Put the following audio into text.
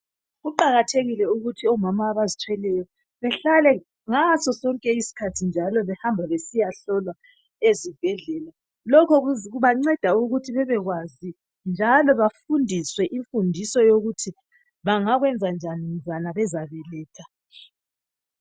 Kuqakathekile ukuthi omama abazithweleyo bahlale ngasosonke isikhathi behamba besiya hlolwa ezibhedlela lokho kubanceda ukuthi bebekwazi njalo bafundiswe imfundiso yokuthi bangakwenza njani mzukwana bezabeletha.